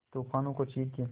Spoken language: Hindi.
तूफानों को चीर के